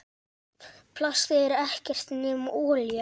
Plastið er ekkert nema olía.